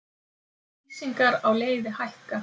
Lýsingar á leiði hækka